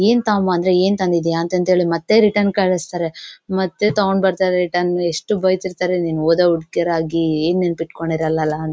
ಏನ್ ತಗೋ ಬಾ ಅಂದ್ರೆ ಏನ್ ತಂದಿದೀಯ ಅಂತ ಅಂದೇಳಿ ಮತ್ತೆ ರಿಟರ್ನ್ ಕಳಿಸ್ತಾರೆ ಮತ್ತೆ ತಗೊಂಡ್ ಬರ್ತಾರೆ ರಿಟರ್ನ್ ಎಷ್ಟು ಬೈತಿರ್ತಾರೆ ನೀವ್ ಓದೋ ಹುಡ್ಗಿಯರಾಗಿ ಏನ್ ನೆನ್ಪ್ ಇಟ್ಕೊಂಡಿರಲ್ಲ ಅಂತ.